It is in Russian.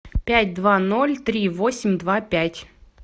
пять два ноль три восемь два пять